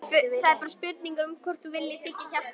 Það er bara spurning um hvort þú viljir þiggja hjálpina.